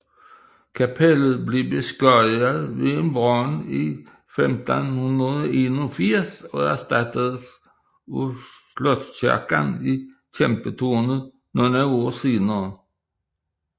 Kapellet blev beskadiget ved en brand i 1581 og erstattedes af slotskirken i Kæmpetårnet nogle år senere